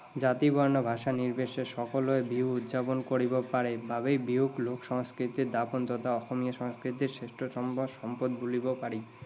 জাতি, বৰ্ণ, ভাষা নিৰ্বিশেষে সকলোৱে বিহু উদযাপন কৰিব পাৰে বাবেই বিহুক লোক সংস্কৃতিৰ দাপোণ তথা অসমীয়া সংস্কৃতিৰ শ্ৰেষ্ঠতম সম্পদ বুলিব পাৰি।